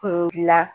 Kun dilan